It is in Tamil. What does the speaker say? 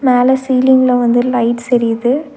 மேல சீலிங்ல வந்து லைட்ஸ் எரியிது.